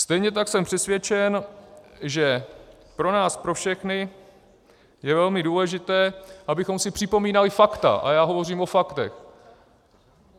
Stejně tak jsem přesvědčen, že pro nás pro všechny je velmi důležité, abychom si připomínali fakta, a já hovořím o faktech.